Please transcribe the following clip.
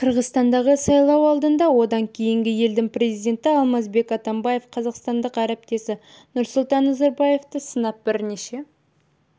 қырғызстандағы сайлау алдында және одан кейін елдің президенті алмазбек атамбаев қазақстандық әріптесі нұрсұлтан назарбаевты сынап бірнеше